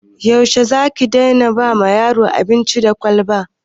Yaushe za ki daina ba yaro abinci da kwalba?